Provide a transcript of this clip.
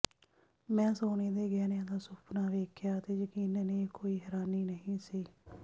ਮੈਂ ਸੋਨੇ ਦੇ ਗਹਿਣਿਆਂ ਦਾ ਸੁਫਨਾ ਵੇਖਿਆ ਅਤੇ ਯਕੀਨਨ ਇਹ ਕੋਈ ਹੈਰਾਨੀ ਨਹੀਂ ਸੀ